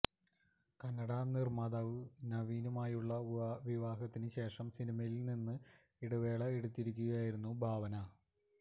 കന്നട നിര്മാതാവ് നവീനുമായുള്ള വിവാഹത്തിന് ശേഷം സിനിമയില് നിന്ന് ഇടവേള എടുത്തിരിക്കുകയായിരുന്നു ഭാവന